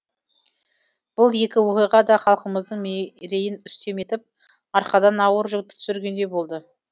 бұл екі оқиға да халқымыздың мерейін үстем етіп арқадан ауыр жүкті түсіргендей болды